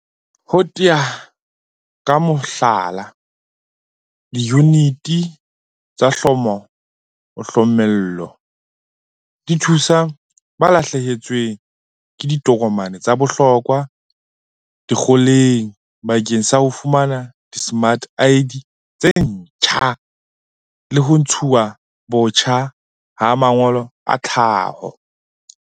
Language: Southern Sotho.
Ho tea ka mohlala, diyuniti tsa hloma-o-hlomolle di thusa ba lahlehetsweng ke ditokomane tsa bohlokwa dikgoholeng bakeng sa ho fumana dismart ID tse ntjha le ho ntshuwa botjha ha mangolo a tlhaho.